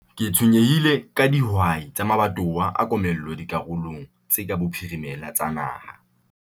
Ke tshwenyehile ka dihwai tsa mabatowa a komello dikarolong tse ka bophirimela tsa naha.